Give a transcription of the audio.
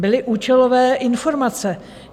Byly účelové informace.